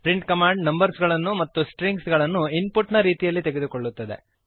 print command numbers ಗಳನ್ನು ಮತ್ತು strings ಗಳನ್ನು ಇನ್ ಪುಟ್ ನ ರೀತಿಯಲ್ಲಿ ತೆಗೆದುಕೊಳ್ಳುತ್ತದೆ